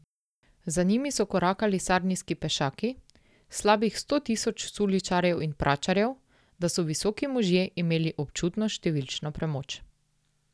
Za njimi so korakali sarnijski pešaki, slabih sto tisoč suličarjev in pračarjev, da so visoki možje imeli občutno številčno premoč.